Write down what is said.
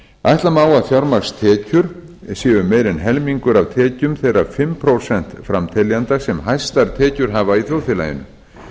ætla má að fjármagnstekjur séu meira en helmingur af tekjum þeirra fimm prósent framteljenda sem hæstar tekjur hafa í þjóðfélaginu